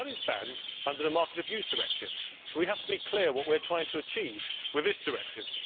But that is banned under the Market Abuse Directive, so we have to be clear about what we are trying to achieve with this directive.